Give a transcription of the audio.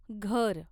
घर